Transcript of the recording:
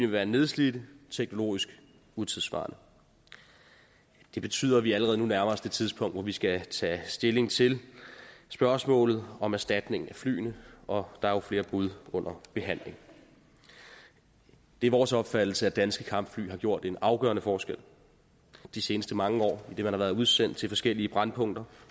være nedslidte og teknologisk utidssvarende og det betyder at vi allerede nu nærmer os det tidspunkt hvor vi skal tage stilling til spørgsmålet om erstatning af flyene og der er jo flere bud under behandling det er vores opfattelse at danske kampfly har gjort en afgørende forskel de seneste mange år idet man har været udsendt til forskellige brændpunkter